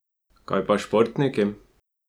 Kaj pa športniki?